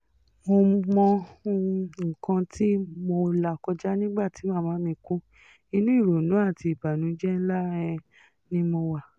mo mọ um nǹkan tí mo là kọjá nígbà tí màmá mi kú inú ìrònú àti ìbànújẹ́ ńlá um ni mo wà